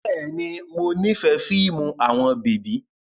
Bẹ́ẹ̀ni, mo nifẹ fiimu awọn bebi